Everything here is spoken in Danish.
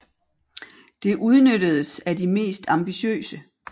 Det udnyttedes af de mest ambitiøse